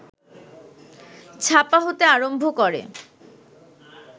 ছাপা হতে আরম্ভ করে